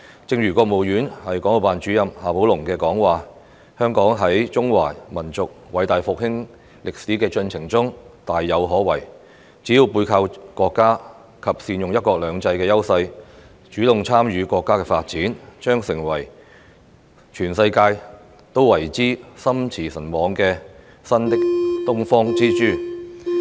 正如國務院港澳辦主任夏寶龍的講話，香港在中華民族偉大復興歷史的進程中大有可為，只要背靠國家及善用"一國兩制"的優勢，主動參與國家的發展，將成為全世界都為之心馳神往的新東方之珠。